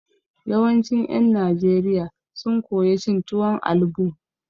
Yawancin ƴen Najeriya sun koya cin tuwon albo.